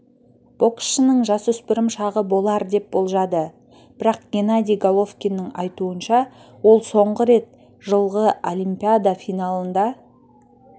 боксшының жасөспірім шағы болар деп болжады бірақ генадий головкиннің айтуынша ол соңғы рет жылғыолимпиада финалында